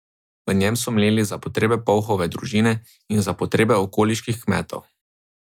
V njem so mleli za potrebe Povhove družine in za potrebe okoliških kmetov.